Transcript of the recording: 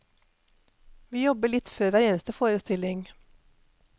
Vi jobber litt før hver eneste forestilling.